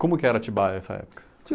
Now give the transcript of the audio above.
Como que era Atibaia nessa época?